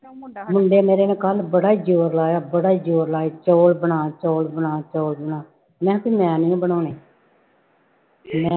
ਮੁੰਡੇ ਮੇਰੇ ਨੇ ਕੱਲ੍ਹ ਬੜਾ ਜ਼ੋਰ ਲਾਇਆ, ਬੜਾ ਜ਼ੋਰ ਲਾਇਆ ਚੋਲ ਬਣਾ, ਚੋਲ ਬਣਾ, ਚੋਲ ਬਣਾ ਮੈਂ ਕਿਹਾ ਵੀ ਮੈਂ ਨੀ ਬਣਾਉਣੇ ਮੈਂ